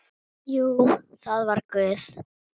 Jú, það var Guð.